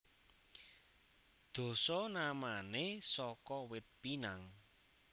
Dasanamané saka Wit Pinang